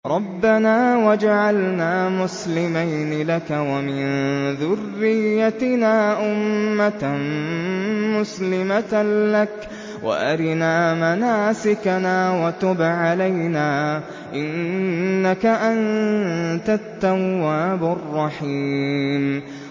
رَبَّنَا وَاجْعَلْنَا مُسْلِمَيْنِ لَكَ وَمِن ذُرِّيَّتِنَا أُمَّةً مُّسْلِمَةً لَّكَ وَأَرِنَا مَنَاسِكَنَا وَتُبْ عَلَيْنَا ۖ إِنَّكَ أَنتَ التَّوَّابُ الرَّحِيمُ